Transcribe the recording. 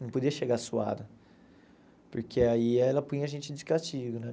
Não podia chegar suado, porque aí ela punha a gente de castigo, né?